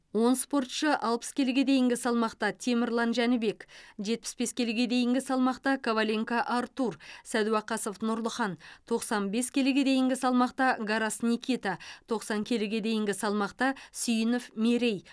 он спортшы алпыс келіге дейінгі салмақта темірлан жәнібек жетпіс бес келіге дейінгі салмақта коваленко артур сәдуақасов нұрлыхан тоқсан бес келіге дейінгі салмақта гарас никита тоқсан келіге дейінгі салмақта сүйінов мерей